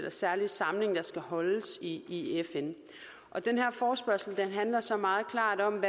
særlige samling der skal holdes i i fn den her forespørgsel handler så meget klart om